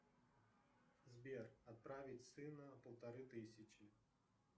сбер отправить сына полторы тысячи